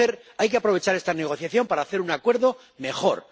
Hay que aprovechar esta negociación para hacer un acuerdo mejor